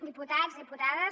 diputats diputades